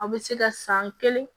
A bɛ se ka san kelen